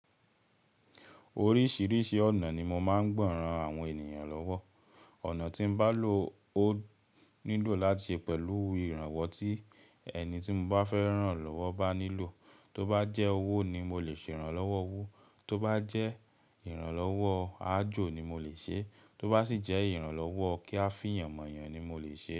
Oríṣìíríṣìí ọ̀nà ni mo máa ń gba ran àwọn ènìyàn lọ́wọ́. Ọ̀nà tí n bá lò ó nílò láti ṣe pẹ̀lú ìrànwọ́ tí ẹni tí n bá fẹ́ rán lọ́wọ́ bá nílò. Tó bá jẹ́ owó ni mo lè ṣe ìrànlọ́wọ́ owó, tó bá jẹ́ ìrànlọ́wọ́ àajò ni mo lè ṣe, tó bá sì jẹ́ ìrànlọ́wọ́ kí a fìyàn mọ̀yàn ni mo lè ṣe.